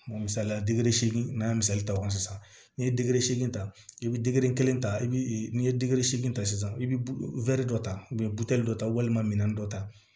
Misaliya dili se n'a ye misali ta o kan sisan n'i ye digi seegin ta i bi kelen ta i bi n'i ye digi seegin ta sisan i bi dɔ ta dɔ ta walima minɛn dɔ ta